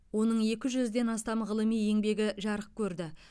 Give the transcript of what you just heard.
оның екі жүзден астам ғылыми еңбегі жарық көрді